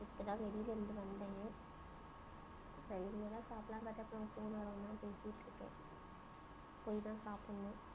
இப்போ தான் வெளியில இருந்து வந்தேன், இனிமே தான் சாப்பிடலாமுன்னு phone ல தான் இன்னும் பேசிட்டிருக்கேன். போய் தான் சாப்பிடணும்.